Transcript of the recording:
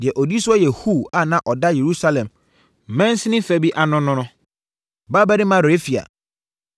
Deɛ ɔdi soɔ yɛ Hur a na ɔda Yerusalem mansini fa bi ano no no, babarima Refaia.